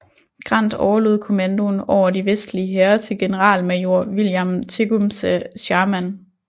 Grant overlod kommandoen over de vestlige hære til generalmajor William Tecumseh Sherman